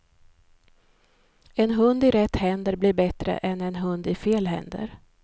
En hund i rätt händer blir bättre än en hund i fel händer.